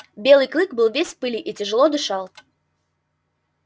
белый клык был весь в пыли и тяжело дышал